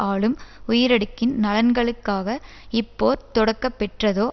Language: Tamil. ஆளும் உயரடுக்கின் நலன்களுக்காக இப்போர் தொடக்கப்பெற்றதோ